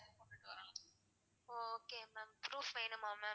ஒ okay ma'am proof வேணுமா ma'am?